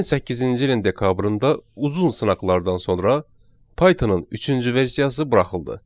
2008-ci ilin dekabrında uzun sınaqlardan sonra Pythonın üçüncü versiyası buraxıldı.